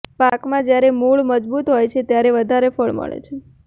પાકમાં જ્યારે મૂળ મજબૂત હોય છે ત્યારે વધારે ફળ મળે છે